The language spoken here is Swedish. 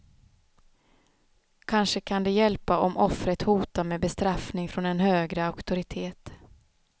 Kanske kan det hjälpa om offret hotar med bestraffning från en högre auktoritet.